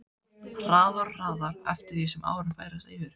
Hraðar og hraðar eftir því sem árin færast yfir.